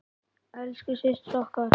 Elsku systir okkar.